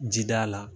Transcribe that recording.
Ji da la